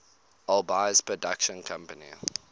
alby's production company